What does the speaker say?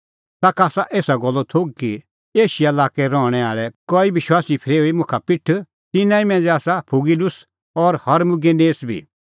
ताखा आसा एसा गल्लो थोघ कि एशिया लाक्कै रहणैं आल़ै कई विश्वासी फरेऊई मुंह बाखा पिठ तिन्नां ई मांझ़ै आसा फुगीलुस और हिरमुगिनेस बी